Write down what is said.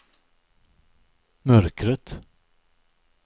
mörkret